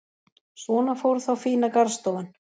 Svona fór þá fína garðstofan.